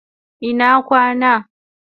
Ina kwana